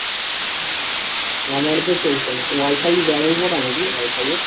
আমার তো চলছে না। wifi নাকি? wifi এ